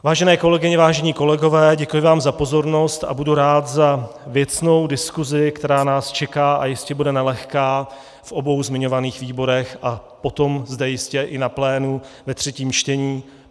Vážené kolegyně, vážení kolegové, děkuji vám za pozornost a budu rád za věcnou diskuzi, která nás čeká a jistě bude nelehká v obou zmiňovaných výborech a potom zde jistě i na plénu ve třetím čtení.